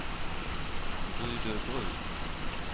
Rydöbruk